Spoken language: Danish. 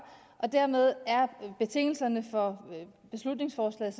dermed er betingelserne for beslutningsforslaget